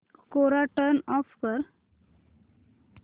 कोरा turn off कर